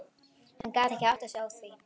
Hann gat ekki áttað sig á því.